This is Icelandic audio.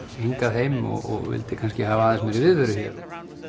hingað heim og vildi hafa aðeins meiri viðveru hér